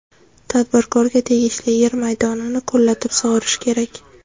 Tadbirkorga tegishli yer maydonini ko‘llatib sug‘orish kerak.